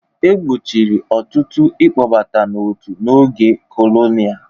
E gbochiri ọtụtụ ịkpọbata n'otu n'oge kolonial.